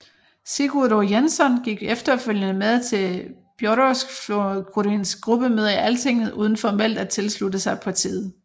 Sigurður Jensson gik efterfølgende med til Þjóðræðisflokkurinns gruppemøder i Altinget uden formelt at tilslutte sig partiet